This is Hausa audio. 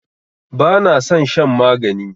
Bana san shan magani